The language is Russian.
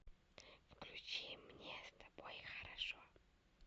включи мне с тобой хорошо